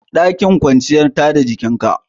Ɗakin kwanciya tada jinka